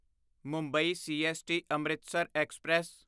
Mumbai CST Amritsar express